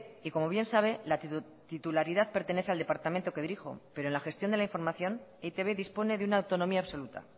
y como bien sabe la titularidad pertenece al departamento que dirijo pero la gestión de la información e i te be dispone de una autonomía absoluta